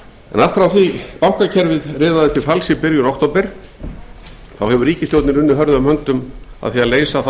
allt frá því að bankakerfið riðaði til falls í byrjun október hefur ríkisstjórnin unnið hörðum höndum við að leysa þá